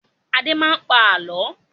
Adé máa ń pa àálọ́.